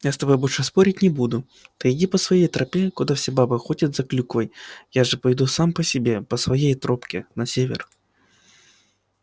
я с тобой больше спорить не буду ты иди по своей тропе куда все бабы ходят за клюквой я же пойду сам по себе по своей тропке на север